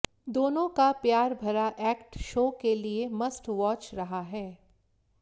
दोनों का प्यार भरा एक्ट शो के लिए मस्ट वॅाच रहा है